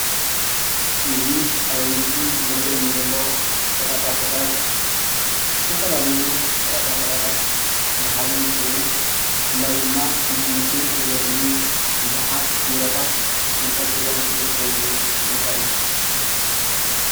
እዚ ኣብዚ ምስሊ ዝረኣየኒ ዘሎ ሸቀጣሸቅጥ ዝተፈላለዩ ሸቀጣሸቀጣት ዝሓዘ እንትከዉን ብፍላይ ድማ ንትምርቲ ዘገልግሉ ብዙሓት ቢሮታት ተንጠልጢሎም ዝርከብሉ ቦታ እዩ ።